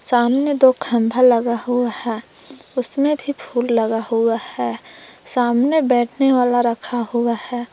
सामने दो खम्बा लगा हुआ है। उसमें भी फूल लगा हुआ है। सामने बैठने वाला रखा हुआ है।